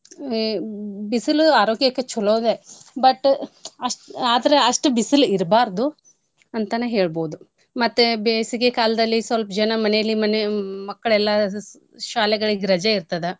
A ಬಿಸಲು ಆರೋಗ್ಯಕ್ಕೆ ಚೊಲೋದೇ but ಅಷ್ಟ್ ಆದ್ರ ಅಷ್ಟ್ ಬಿಸಿಲ್ ಇರ್ಬಾರದು ಅಂತನ ಹೇಳ್ಬೋದು. ಮತ್ತೆ ಬೇಸಿಗೆ ಕಾಲ್ದಲ್ಲಿ ಸ್ವಲ್ಪ ಜನ ಮನೇಲಿ ಮನೆ~ ಮಕ್ಳೇಲ್ಲಾ ಸ~ ಶಾಲೆಗಳಿಗೆ ರಜೆ ಇರ್ತದ.